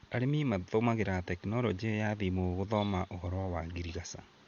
Arĩmi matũmagĩra tekinoronjĩ ya thimũ gũthoma ũhoro wa ngirigaca.